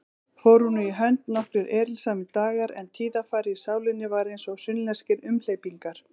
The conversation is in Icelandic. Fóru nú í hönd nokkrir erilsamir dagar, en tíðarfarið í sálinni var einsog sunnlenskir umhleypingar.